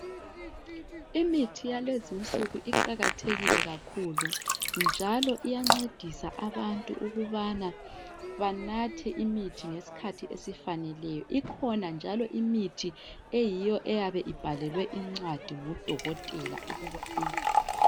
imithi yalezinsuku iqakathekile kakhulu njalo iyancedisa abantu ukubana banathe imithi ngesikhathi esifaneleyo ikhona njalo imithi eyiyo eyabe ibhalelwe indcwadi ngudokotela ukuba uyithole